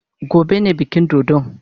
Gobe ne bikin dodon.